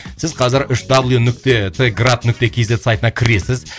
сіз қазір үш дабл ю нүкте т град нүкте кз сайтына кіресіз